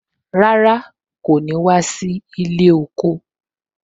Rárá, kò ní wá sí ilé oko